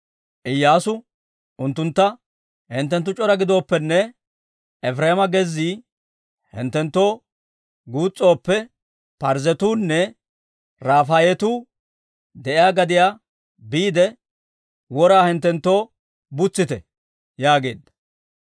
Iyyaasu unttuntta: «Hinttenttu c'ora giddooppene, Efireema gezzii hinttenttoo guus's'ooppe, Parzzetuunne Rafaayetu de'iyaa gadiyaa biide, wora hinttenttoo butsitte» yaageedda.